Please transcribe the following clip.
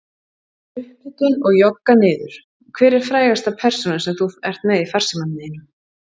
Upphitun og jogga niður Hver er frægasta persónan sem þú ert með í farsímanum þínum?